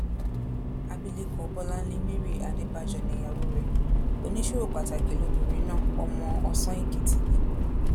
abilékọ bọláńlé mary adébájọ nìyàwó rẹ oníṣòwò pàtàkì lobìnrin náà ọmọ ọsán èkìtì ni